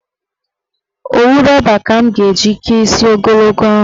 Owu rọba ka m ga-eji kee isi ogologo ahụ.